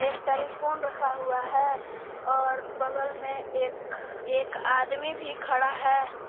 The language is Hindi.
टेलीफोन रखा हुआ है और बगल में एक एक आदमी भी खड़ा है।